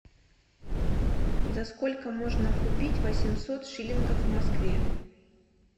за сколько можно купить восемьсот шиллингов в москве